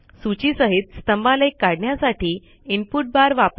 सूची सहित स्तंभालेख काढण्यासाठी इनपुट बार वापरा